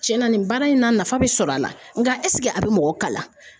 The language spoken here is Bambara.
Cɛnna nin baara in na nafa bɛ sɔrɔ a la nka eseke a bɛ mɔgɔ kalan?